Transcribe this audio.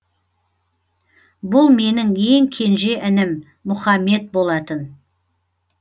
бұл менің ең кенже інім мұхамед болатын